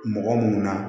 Mɔgɔ munnu na